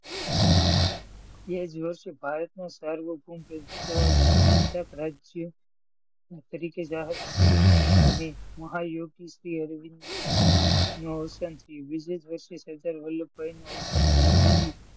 તે જ વર્ષે ભારતનું સાર્વભૌમ પ્રજાસત્તાક રાજ્ય તરીકે જાહેર થયું ને મહાયોગી શ્રી અરવિંદ નૂ અવસાન થયું. બીજે જ વર્ષે સરદાર વલ્લભ ભાઈ નું અવસાન થયું. પછી,